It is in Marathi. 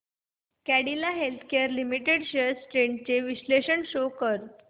Cadila healthcare limited shares trends चे विश्लेषण शो कर